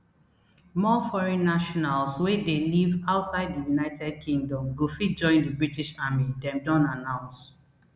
more foreign nationals wey dey live outside di united kingdom go fit join di british army dem don announce